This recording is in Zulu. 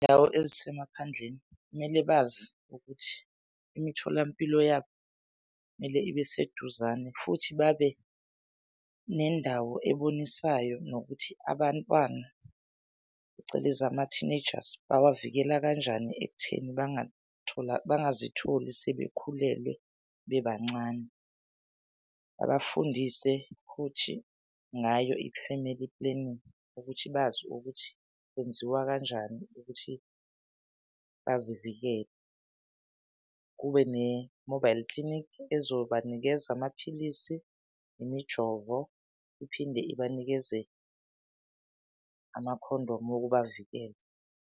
Izindawo ezisemaphandleni kumele bazi ukuthi imitholampilo yabo kumele ibe seduzane futhi babe nendawo ebonisayo nokuthi abantwana, phecelezi ama-teenagers bawavikela kanjani ekutheni bangazitholi sebekhulelwe bebancane. Babafundise futhi ngayo i-family planning ukuthi bazi ukuthi kwenziwa kanjani ukuthi bazivikele. Kube ne-mobile clinic ezobanikeza amaphilisi, imijovo, iphinde ibanikeze amakhondomu wokubavikela.